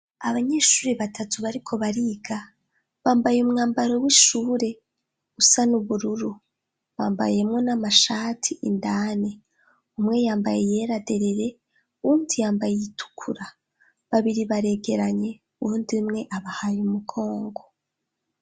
Abanyeshuri batatu bariko bariga bambaye umwambaro w'ishure usa n'ubururu, bambayemwo n'amashati indani, umwe yambaye iyera derere uwundi yambaye iyitukura, babiri baregeranye uwundi umwe abahaye umugongo.